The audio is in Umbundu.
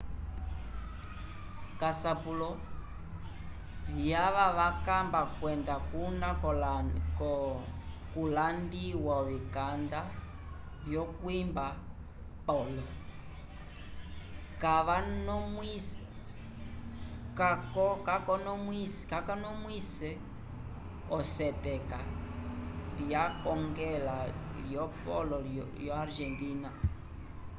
k'asapulo vyava vamba kwenda kuna kulandiwa ovikanda vyokwimba polo kakonomwise oseketa lyekongela lyopolo lyo argentina